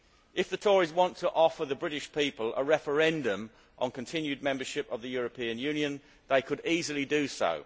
If the Tories wanted to offer the British people a referendum on continued membership of the European Union, they could easily do so.